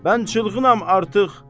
Mən çılğınam artıq.